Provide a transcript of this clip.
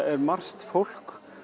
er margt fólk